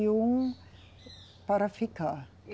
E um para ficar.